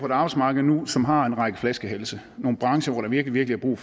et arbejdsmarked nu som har en række flaskehalse nogle brancher hvor der virkelig er brug